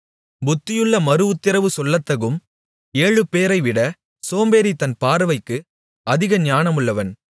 புத்தியுள்ள மறுஉத்திரவு சொல்லத்தகும் ஏழுபேரைவிட சோம்பேறி தன் பார்வைக்கு அதிக ஞானமுள்ளவன்